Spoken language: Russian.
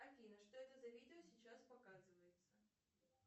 афина что это за видео сейчас показывается